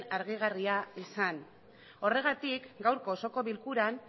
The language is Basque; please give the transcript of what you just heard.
argigarria izan horregatik gaurko osoko bilkuran